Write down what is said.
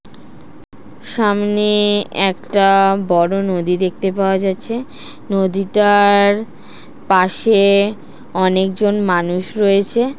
সামনে একটা বড়ো নদী দেখতে পাওয়া যাচ্ছে নদীটার পাশে অনেকজন মানুষ রয়েছে ।